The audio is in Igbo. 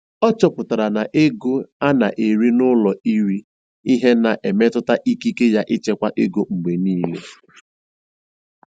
Ọ chọpụtara na ego a na-eri n'ụlọ iri ihe na-emetụta ikike ya ịchekwa ego mgbe niile.